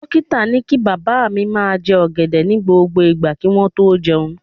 Dókítà ni kí bàbá mi máa jẹ ọ̀gẹ̀dẹ̀ ní gbogbo ìgbà kí wọ́n tó jẹun